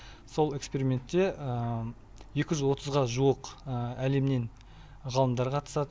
сол экспериментте екі жүз отызға жуық әлемнен ғалымдар қатысады